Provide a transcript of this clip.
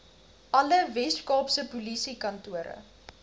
alle weskaapse polisiekantore